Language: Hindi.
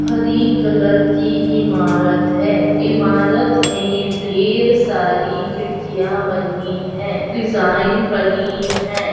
हरी कलर की इमारत है इमारत में ढेर सारी खिड़कीयां बनी है डिजाइन बनी है।